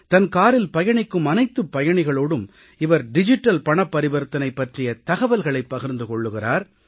தன் காரில் பயணிக்கும் அனைத்துப் பயணிகளோடும் இவர் டிஜிட்டல் பணப்பரிவர்த்தனை பற்றிய தகவல்களைப் பகிர்ந்து கொள்கிறார்